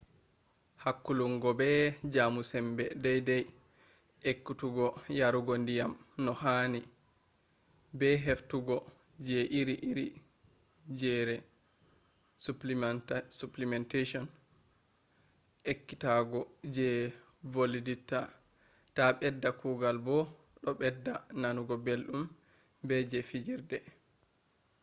hakkulungo be jamo sambe dai dai ekkutuggo yarugo diyam no hani be heftugo je iri iri jresupplementation ekkutuggo je valititta do bedda kugal bo do bedda nanugo beldum be je fijirde